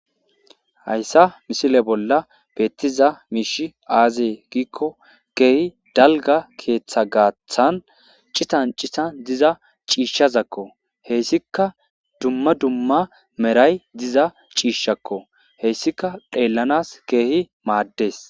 Hayssa misile bolla beettiza miishi aazee giikko keehi dalga keeththa gaathan citan citan diza ciishshazakko heyssika dumma dumma meray diza ciishshakko heyssika dheellanas keehi maaddes.